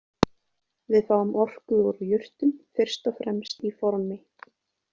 Við fáum orku úr jurtum fyrst og fremst í formi